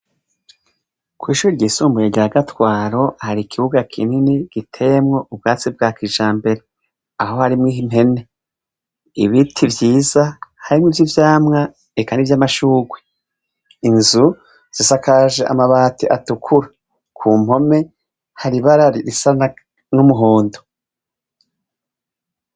Kw'ishure ryisumbuye rya Gatwaro hari ikibuga kinini giteyemwo ubwatsi bwa kijambere, aho harimwo impene, ibiti vyiza harimwo ivy'ivyamwa eka nivy'amashurwe, inzu zisakaje amabati atukura, ku mpome hari ibara risa n'umuhondo.